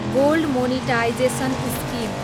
gold monetisation scheme